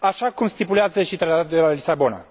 așa cum stipulează și Tratatul de la Lisabona.